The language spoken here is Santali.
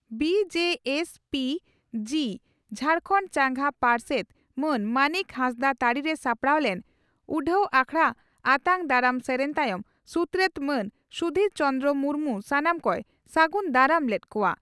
ᱵᱹᱡᱹᱥᱹᱚᱹᱜᱹ ᱡᱷᱟᱨᱠᱷᱟᱱᱰ ᱪᱟᱸᱜᱟ ᱯᱟᱨᱥᱮᱛ ᱢᱟᱱ ᱢᱟᱱᱤᱠ ᱦᱟᱸᱥᱫᱟᱜ ᱛᱟᱹᱨᱤᱨᱮ ᱥᱟᱯᱲᱟᱣ ᱞᱮᱱ ᱩᱰᱦᱟᱹᱣ ᱟᱠᱷᱲᱟᱨᱮ ᱟᱛᱟᱝ ᱫᱟᱨᱟᱢ ᱥᱮᱨᱮᱧ ᱛᱟᱭᱚᱢ ᱥᱩᱛᱨᱮᱛ ᱢᱟᱱ ᱥᱩᱫᱷᱤᱨ ᱪᱚᱱᱫᱨᱚ ᱢᱩᱨᱢᱩ ᱥᱟᱱᱟᱢ ᱠᱚᱭ ᱥᱟᱹᱜᱩᱱ ᱫᱟᱨᱟᱢ ᱞᱮᱫ ᱠᱚᱜᱼᱟ ᱾